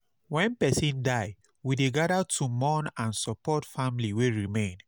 Wen person die, we dey gather to mourn and support family wey remain.